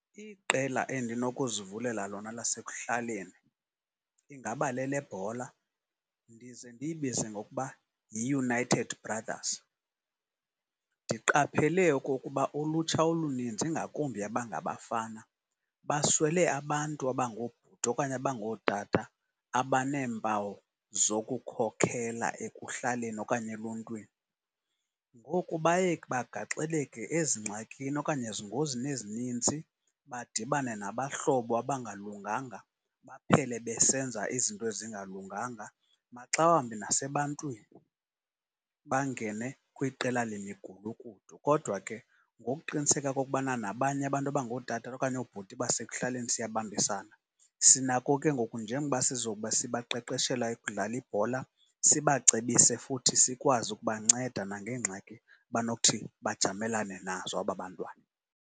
Iqela endinokuzivulela lona lasekuhlaleni ingaba lelebhola ndize ndiyibize ngokuba yiUnited Brothers. Ndiqaphele okokuba ulutsha oluninzi, ingakumbi abangabafana, baswele abantu abangoobhuti okanye abangootata abaneempawu zokukhokela ekuhlaleni okanye eluntwini. Ngoku baye bagaxeleke ezingxakini okanye ezingozini ezinintsi, badibane nabahlobo abangalunganga baphele besenza izinto ezingalunganga maxa wambi nasebantwini. Bangene kwiqela lemigulukudu kodwa ke ngokuqiniseka okokubana nabanye abantu abangootata okanye abangoobuti basekuhlaleni siyabambisana, sinako ke ngoku njengoba sizobe sibaqeqeshela ukudlala ibhola sibacebise futhi sikwazi ukubanceda nangeengxaki abanothi bajamelane nazo aba bantwana.